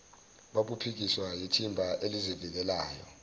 babuphikiswa yithimba elizivikelayo